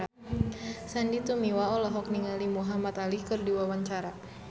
Sandy Tumiwa olohok ningali Muhamad Ali keur diwawancara